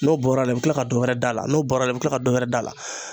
N'o bɔra la i bɛ kila ka dɔ wɛrɛ d'a la n'o bɔra i bɛ tila ka dɔ wɛrɛ d'a la